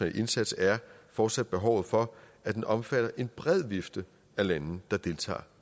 indsats er fortsat behovet for at den omfatter en bred vifte af lande der deltager